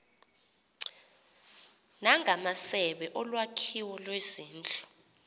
ngamasebe olwakhiwo lwezindlu